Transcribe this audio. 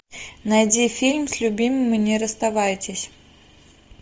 найди фильм с любимыми не расставайтесь